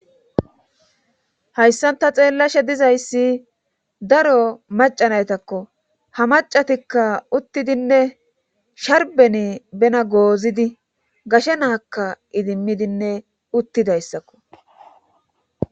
Hayssanta xeellashe dizayssi daro macanaytakko ha macatikka uttidinne sharbeni bena goozidi gashe naakka idimmidinne uttidayssakko.